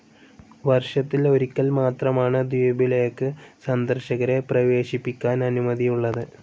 വർഷത്തിൽ ഒരിക്കൽ മാത്രമാണ് ദ്വീപിലേക്ക് സന്ദർശകരെ പ്രവേശിപ്പിക്കാൻ അനുമതിയുള്ളത്.